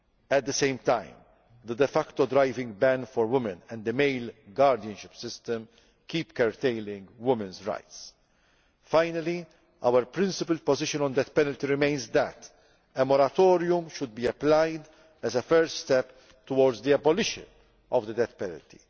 At the same time, the de facto driving ban for women and the male guardianship system keep curtailing women's rights. Finally, our principled position on the death penalty remains that a moratorium should be applied as a first step toward the abolition of the death penalty.